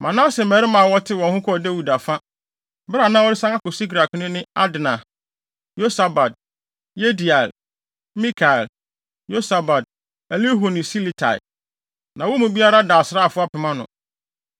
Manase mmarima a wɔtew wɔn ho kɔɔ Dawid afa, bere a na ɔresan akɔ Siklag no ne Adna, Yosabad, Yediael, Mikael, Yosabad, Elihu ne Siletai. Na wɔn mu biara da asraafo apem ano.